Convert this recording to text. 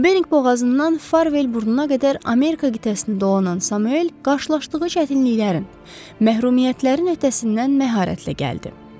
Bering boğazından Farvel burnuna qədər Amerika qitəsini dolanan Samuel qarşılaşdığı çətinliklərin, məhrumiyyətlərin öhdəsindən məharətlə gəldi.